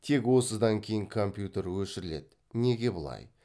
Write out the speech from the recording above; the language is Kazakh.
тек осыдан кейін компьютер өшіріледі неге бұлай